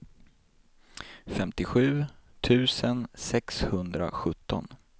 femtiosju tusen sexhundrasjutton